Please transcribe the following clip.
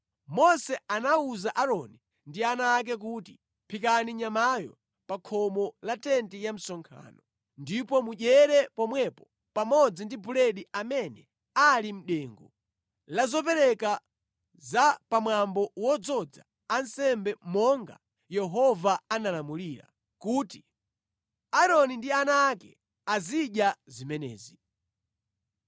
Mose anawuza Aaroni ndi ana ake kuti, “Phikani nyamayo pa khomo la tenti ya msonkhano, ndipo mudyere pomwepo pamodzi ndi buledi amene ali mʼdengu la zopereka za pamwambo wodzoza ansembe monga Yehova analamulira kuti, ‘Aaroni ndi ana ake azidya zimenezi.’